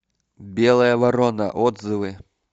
белая ворона отзывы